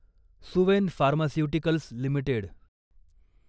Suven pharmaceuticals limited